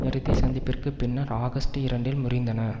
இறுதி சந்திப்பிற்குப் பின்னர் ஆகஸ்டு இரண்டில் முறிந்தன